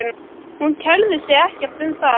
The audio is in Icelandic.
Hún kærir sig ekkert um það.